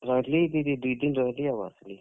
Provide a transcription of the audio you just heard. ରହେଲି କେତେ, ଦୁଇ ଦିନ୍ ରହେଲି ଆଉ ଆସ୍ ଲି।